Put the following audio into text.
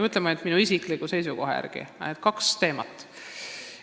Aga minu isikliku seisukoha järgi on siin kaks teemat.